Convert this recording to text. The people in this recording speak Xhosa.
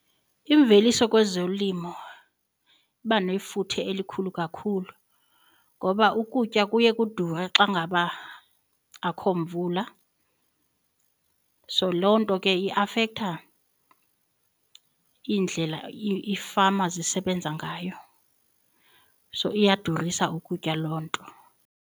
Imveliso kwezolimo iba nefuthe elikhulu kakhulu ngoba ukutya kuye kudure xa ngaba akho mvula. So loo nto ke iafektha iindlela iifama zisebenza ngayo so iyadurisa ukutya loo nto.